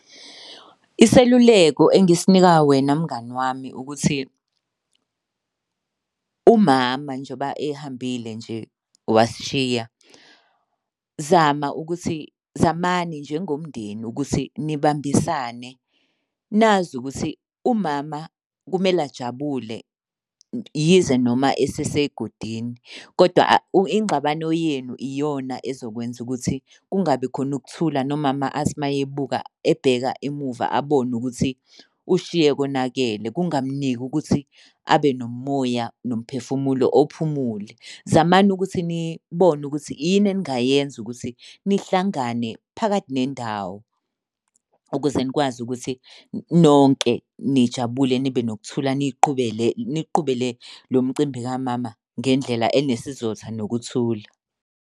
Iseluleko engisinika wena mngani wami ukuthi umama njengoba ehambile nje wasishiya, zama ukuthi, zamani njengomndeni ukuthi nibambisane. Nazi ukuthi umama kumele ajabule yize noma esesegodini koda ingxabano yenu iyona ezokwenza ukuthi kungabi khona ukuthula nomama athi uma ebuka ebheka emuva abone ukuthi ushiye konakele kungamuniki ukuthi abe nomoya nomphefumulo ophumule. Zamani ukuthi nibone ukuthi yini eningayenza ukuthi nihlangane phakathi nendawo ukuze nikwazi ukuthi nonke nijabule nibe nokuthula niy'qhubele, niy'qhubele lo mcimbi kamama ngendlela enesizotha nokuthula.